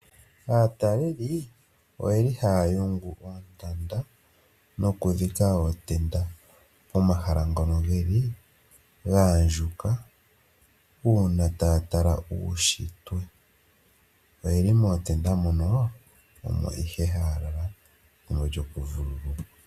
Aataleli oye li haa yungu oontanda nokudhika ootenda pomahala ngono ge li ga andjuka uuna taa tala uunshitwe. Oye li mootenda mono, omo ihe haa lala pethimbo lyokuvululukwa.